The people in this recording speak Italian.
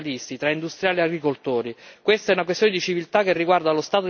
Questa non è una lotta tra affaristi e ambientalisti, tra industriali e agricoltori.